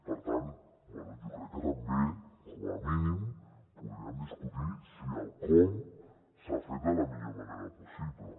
per tant bé jo crec que també com a mínim podríem discutir si el com s’ha fet de la millor manera possible